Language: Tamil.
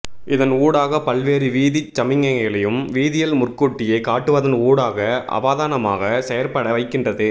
இதன் ஊடாக பல்வேறு வீதிச் சமிக்ஞைகளையும் வீதியில் முற்கூட்டியே காட்டுவதன் ஊடாக அவதானமாக செயற்பட வைக்கின்றது